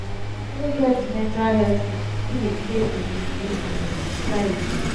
pipo wey get mental health issue still dey face discrimination for di society